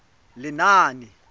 lenaane